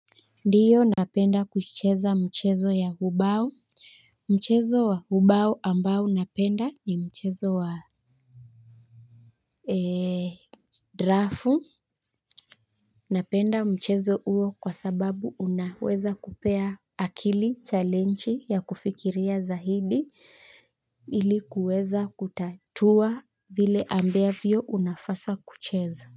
Ndio napenda kucheza mchezo ya ubao. Mchezo wa ubao ambao napenda ni mchezo wa drafu. Napenda mchezo huo kwa sababu unaweza kupea akili challenge ya kufikiria zaidi ili kuweza kutatua vile ambavyo unafasa kucheza.